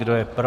Kdo je pro?